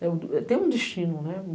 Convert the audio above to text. Tem um destino, né?